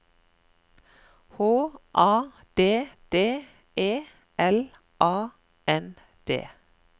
H A D D E L A N D